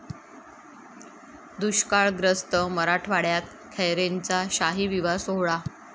दुष्काळग्रस्त मराठवाड्यात खैरेंचा शाही विवाह सोहळा